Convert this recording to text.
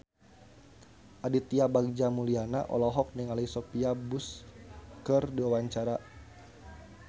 Aditya Bagja Mulyana olohok ningali Sophia Bush keur diwawancara